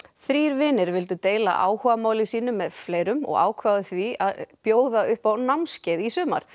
þrír vinir vildu deila áhugamáli sínu með fleirum og ákváðu því að bjóða upp á námskeið í sumar